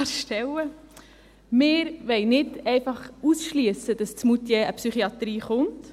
Wir wollen nicht einfach ausschliessen, dass in Moutier eine Psychiatrie kommt.